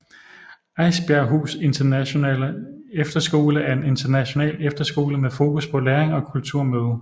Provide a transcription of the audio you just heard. Eisbjerghus Internationale Efterskole er en international efterskole med fokus på læring og kulturmøde